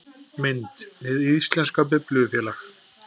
Mynd: Hið íslenska Biblíufélag